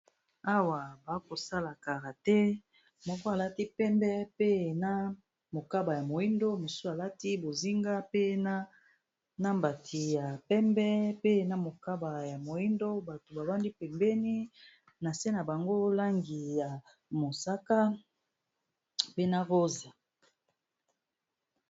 Awa bakosala karate, moko alati pembe pe na mokaba ya moyindo mosusu alati bozinga pena na mbati ya pembe pe na mokaba ya moyindo bato bavandi pembeni na se na bango langi ya mosaka, pe na rose.